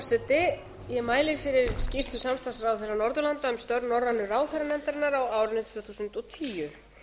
frú forseti ég mæli fyrir skýrslu samstarfsráðherra norðurlanda um störf norrænu ráðherranefndarinnar á árinu tvö þúsund og tíu